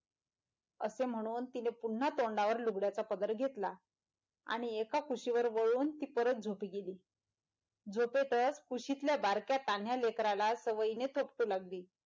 असं म्हणून तिने पुनः तोंडावर लुगड्याचा पदर घेतला आणि एका कुशीवर वळून ती परत झोपी गेली झोपेतच कुशीतल्या बारक्या तान्ह्या लेकराला सवयीने थोपटू लागली.